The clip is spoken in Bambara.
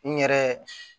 N yɛrɛ